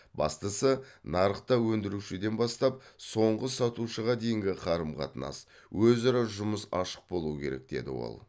бастысы нарықта өндірушіден бастап соңғы сатушыға дейінгі қарым қатынас өзара жұмыс ашық болуы керек деді ол